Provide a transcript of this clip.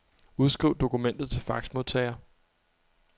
Udskriv dokumentet til faxmodtager.